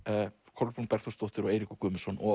Kolbrún Bergþórsdóttir og Eiríkur Guðmundsson